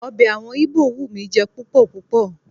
Ọbẹ̀ àwọn Íbò wù mí jẹ púpọ̀ púpọ̀.